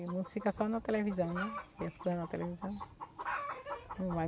E o mundo fica só na televisão, né? Eles põe lá a televisão... não vai.